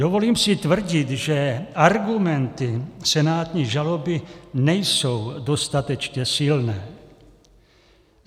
Dovolím si tvrdit, že argumenty senátní žaloby nejsou dostatečně silné.